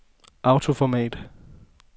autoformat